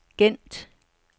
Gent